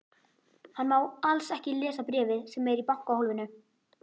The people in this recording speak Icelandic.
Hann má alls ekki lesa bréfið sem er í bankahólfinu.